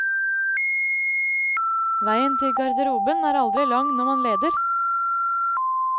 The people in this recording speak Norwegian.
Veien til garderoben er aldri lang når man leder.